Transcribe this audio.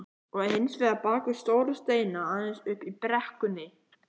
Og hins vegar bakvið stóra steina aðeins uppi í brekkunni.